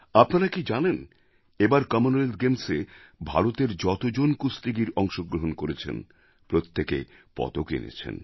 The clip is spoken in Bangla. আপনারা কি জানেন এবার কমনওয়েলথ গেমস্এ ভারতের যত জন কুস্তিগীর অংশগ্রহণ করেছেন প্রত্যেকে পদক এনেছেন